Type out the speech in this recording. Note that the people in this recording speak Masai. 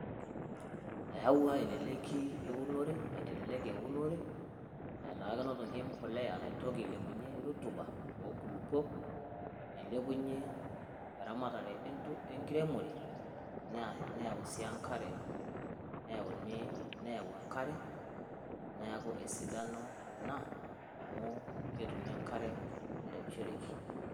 Eyaua eleleki eunore, aitelelek eunore etaa kenotoki embolea naitoki ailepunyie rotuba oonkulukuon nailepunyie eramatare enkiremore, nayau enkari neeku esidano ina, amu ketumi enkare nairemishoreki.